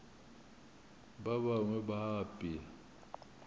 ba bangwe ba a apea